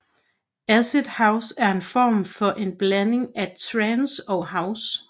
Acid house er en form for en blanding af trance og house